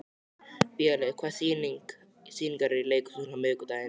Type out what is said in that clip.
Vélaug, hvaða sýningar eru í leikhúsinu á miðvikudaginn?